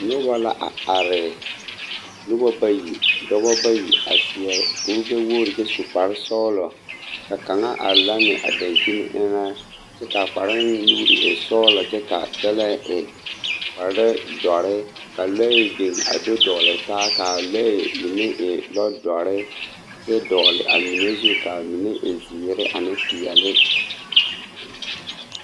Noba la a are noba bayi dɔbɔ bayi a seɛ kuri gbɛ-wogiri kyɛ su kpare sɔgelɔ ka kaŋa are lanne a dankyini eŋɛ kyɛ k'a kparoŋ nuuri e sɔgelɔ kyɛ k'a kyɛlɛɛ e kpare dɔre ka lɔɛ biŋ a do dɔgele taa k'a lɔɛ mine e lɔdɔre kyɛ dɔgele a mine zu zu k'a mine e zeere ane peɛle.